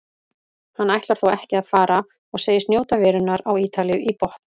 Hann ætlar þó ekki að fara og segist njóta verunnar á Ítalíu í botn.